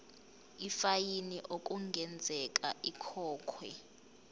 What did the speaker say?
ifayini okungenzeka ikhokhwe